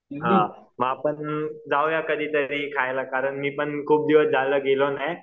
हां मग आपण जाऊया कधीतरी खायला कारण मी पण खूप दिवस झालं गेलो नाही